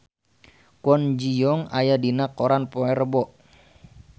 Kwon Ji Yong aya dina koran poe Rebo